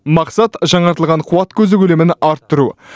мақсат жаңартылған қуат көзі көлемін арттыру